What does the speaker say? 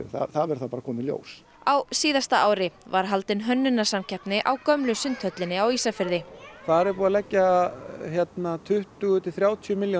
það verður bara að koma í ljós á síðasta ári var haldin hönnunarsamkeppni á gömlu Sundhöllinni á Ísafirði þar er búið að leggja tuttugu til þrjátíu milljónir